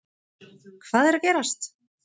Hvað er að gerast